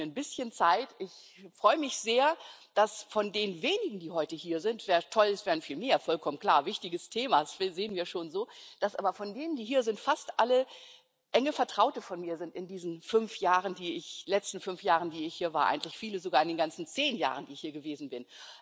Dazu nehme ich mir ein bisschen Zeit. Ich freue mich sehr, dass von den wenigen, die heute hier sind wäre toll, wir wären mehr vollkommen klar wichtiges Thema, das sehen wir schon so dass aber von denen, die hier sind, fast alle enge Vertraute von mir sind aus diesen letzten fünf Jahren, die ich hier war, viele sogar aus den ganzen zehn Jahren, die ich hier gewesen bin.